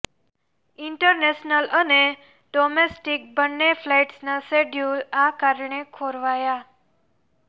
international અને domestic બન્ને ફ્લાઈટ્સના શેડ્યુલ આ કારણે ખોરવાયા